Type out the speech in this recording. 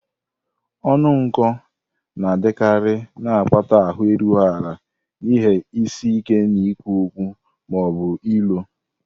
Ọnụ nkụ na-adịkarị, na-akpata ahụ erughị ala na ihe isi ike n'ikwu okwu ma ọ bụ ilo.